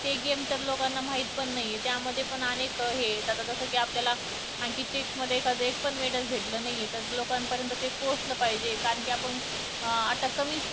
ते game तर लोकांना माहित पण नाही. त्यामध्ये पण अनेक हे येतात जसं कि आपल्याला आणखी chess मधे एक पण medal भेटलं नाही आहे. ते तर लोकांपर्यंत पोहोचलं पाहिजे कारण की आपण अं आता कमी